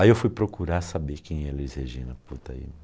Aí eu fui procurar saber quem é Elis Regina, puta, aí...